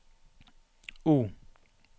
O